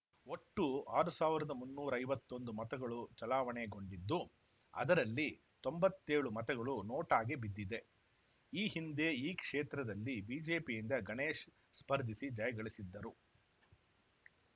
ಒಟ್ಟು ಆರು ಸಾವಿರದ ಮುನ್ನೂರೈವತ್ತೊಂದು ಮತಗಳು ಚಲಾವಣೆ ಗೊಂಡಿದ್ದು ಅದರಲ್ಲಿ ತೊಂಬತ್ತೇಳು ಮತಗಳು ನೋಟಾ ಗೆ ಬಿದ್ದಿದೆ ಈ ಹಿಂದೆ ಈ ಕ್ಷೇತ್ರದಲ್ಲಿ ಬಿಜೆಪಿಯಿಂದ ಗಣೇಶ್ ಸ್ಪರ್ಧಿಸಿ ಜಯ ಗಳಿಸಿದ್ದರು